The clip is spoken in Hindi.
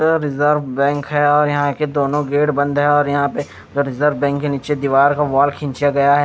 ये रिझर्व बैंक और यहाँ के दोनों गेट बंद हैं और यहाँ पे रिझर्व बैंक के नीचें दीवार का वोल खींचा गया है।